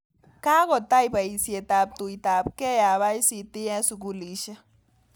Kagotai paisyet ap tuitapgei ap ICT eng' sugulisiek